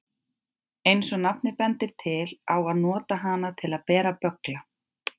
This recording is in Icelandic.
Eins og nafnið bendir til á að nota hana til að bera böggla.